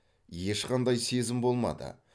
ешқандай сезім болмады